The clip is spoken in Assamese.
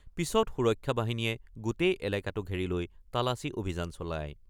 পিচত সুৰক্ষা বাহিনীয়ে গোটেই এলেকাটো ঘেৰি লৈ তালাচী অভিযান চলায়।